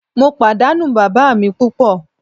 Mo padanu baba mi pupo.